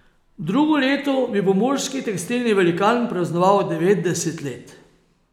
Drugo leto bi pomurski tekstilni velikan praznoval devetdeset let.